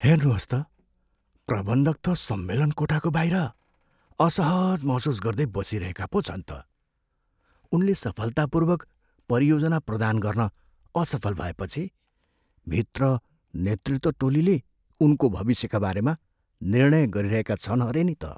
हेर्नुहोस् त, प्रबन्धक त सम्मेलन कोठाको बाहिर असहज महसुस गर्दै बसिरहेका पो छन् त। उनले सफलतापूर्वक परियोजना प्रदान गर्न असफल भएपछि भित्र नेतृत्व टोलीले उनको भविष्यका बारेमा निर्णय गरिरहेका छन् अरे नि त।